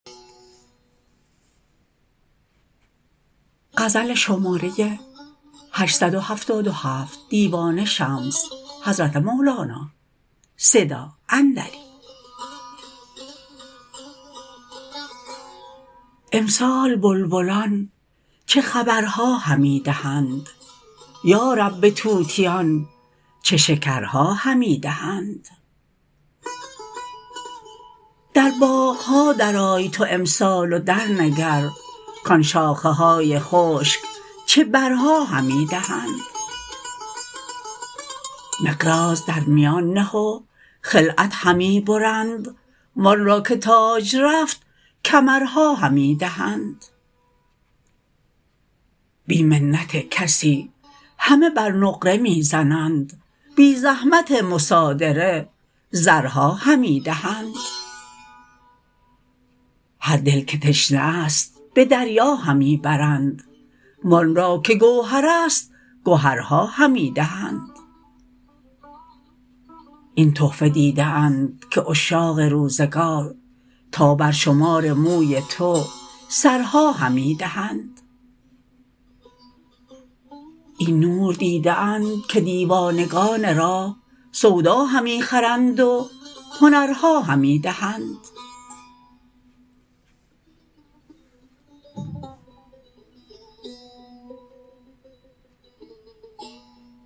امسال بلبلان چه خبرها همی دهند یا رب به طوطیان چه شکرها همی دهند در باغ ها درآی تو امسال و درنگر کان شاخه های خشک چه برها همی دهند مقراض در میان نه و خلعت همی برند وان را که تاج رفت کمرها همی دهند بی منت کسی همه بر نقره می زنند بی زحمت مصادره زرها همی دهند هر دل که تشنه ست به دریا همی برند وان را که گوهرست گهرها همی دهند این تحفه دیده اند که عشاق روزگار تا برشمار موی تو سرها همی دهند این نور دیده اند که دیوانگان راه سودا همی خرند و هنرها همی دهند